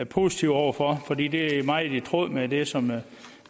positive over for fordi det er meget i tråd med det som